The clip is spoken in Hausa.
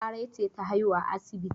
Larai ce ta haihu a asibiti.